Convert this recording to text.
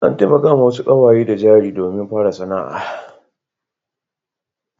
An taimakawa wasu ƙawaye da jari domin fara sana'a.